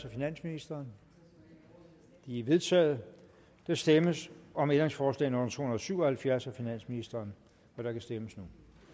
af finansministeren de er vedtaget der stemmes om ændringsforslag nummer to hundrede og syv og halvfjerds af finansministeren og der kan stemmes